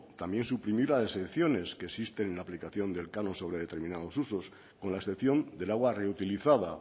también suprimir las exenciones que existen en la aplicación del canon sobre determinados usos con la excepción del agua reutilizada